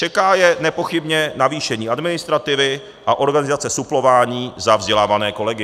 Čeká je nepochybně navýšení administrativy a organizace suplování za vzdělávané kolegy.